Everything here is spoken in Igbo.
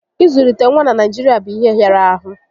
Ị zụlite nwa na Naijirịa bụ ihe hịara ahụ